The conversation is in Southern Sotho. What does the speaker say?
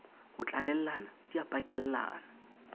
ho tlalellana di a pakellana